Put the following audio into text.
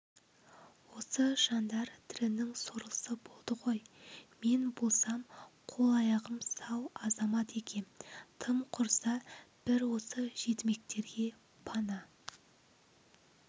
осы жандар тірінің сорлысы болды ғой мен болсам қол-аяғым сау азамат екем тым құрыса бір осы жетімектерге пана